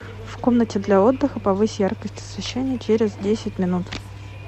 в комнате для отдыха повысь яркость освещения через десять минут